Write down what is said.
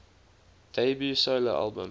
debut solo album